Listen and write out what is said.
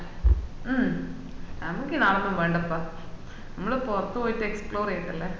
മൂ നമ്മക്ക് ഈ നാടോന്നും വേണ്ടപ്പ നമ്മള് പൊറത് പോയിട്ട് explore ചെയ്യട്ടല്ലേ